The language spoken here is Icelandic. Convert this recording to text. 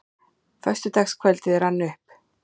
Föstudagskvöldið rann upp.